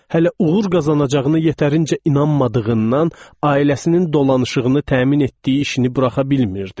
Hələ uğur qazanacağını yetərincə inanmadığından ailəsinin dolanışığını təmin etdiyi işini buraxa bilmirdi.